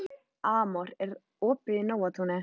Amor, er opið í Nóatúni?